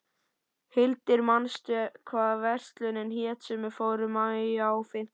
Hildir, manstu hvað verslunin hét sem við fórum í á fimmtudaginn?